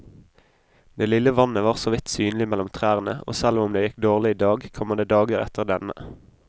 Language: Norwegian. Det lille vannet var såvidt synlig mellom trærne, og selv om det gikk dårlig i dag, kommer det dager etter denne.